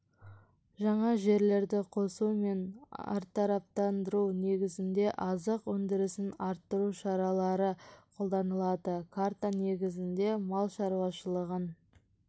жаңа жерлерді қосу мен әртараптандыру негізінде азық өндірісін арттыру шаралары қолданылады карта негізінде мал шаруашылығын